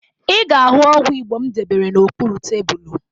Ị ga-ahụ ọgwụ Igbo m debere n'okpuru tebulu